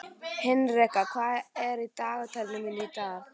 Henrika, hvað er í dagatalinu mínu í dag?